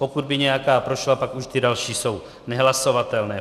Pokud by nějaká prošla, pak už ty další jsou nehlasovatelné.